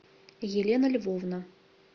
елена львовна